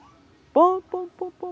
Pom-pom-pom-pom-pom.